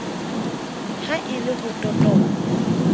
ha e le ho totoba